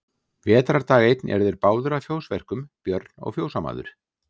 Vetrardag einn eru þeir báðir að fjósverkum, Björn og fjósamaður.